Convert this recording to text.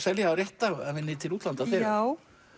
selja rétt af henni til útlanda þegar já